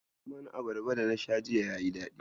Lemon abarbar dana sha jiya yayi daɗi.